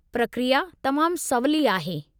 प्रक्रिया तमामु सवली आहे।